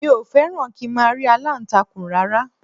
Mi ò fẹ́ràn kí n máa rí aláǹtakùn rárá